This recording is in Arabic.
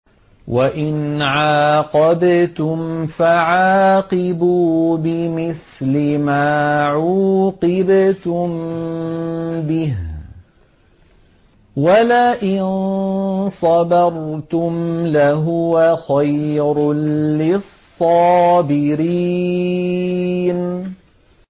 وَإِنْ عَاقَبْتُمْ فَعَاقِبُوا بِمِثْلِ مَا عُوقِبْتُم بِهِ ۖ وَلَئِن صَبَرْتُمْ لَهُوَ خَيْرٌ لِّلصَّابِرِينَ